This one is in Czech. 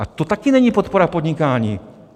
Ale to taky není podpora podnikání.